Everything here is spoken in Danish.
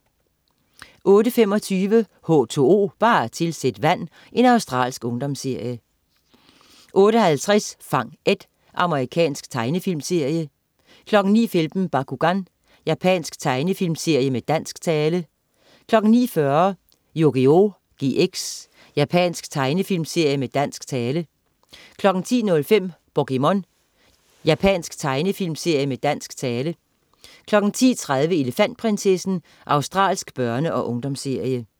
08.25 H2O, bare tilsæt vand. Australsk ungdomsserie 08.50 Fang Ed. Amerikansk tegnefilmserie 09.15 Bakugan. Japansk tegnefilmserie med dansk tale 09.40 Yugioh GX. Japansk tegnefilmserie med dansk tale 10.05 POKéMON. Japansk tegnefilmserie med dansk tale 10.30 Elefantprinsessen. Australsk børne- og ungdomsserie